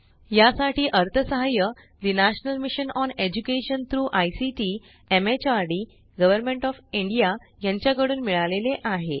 यासाठी अर्थसहाय्य ठे national mission on education through ICT MHRD government of India यांच्या कडून मिळाले आहे